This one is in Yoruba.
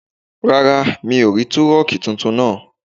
Rárá, mi ò rí túrọ̀nkì tuntun náà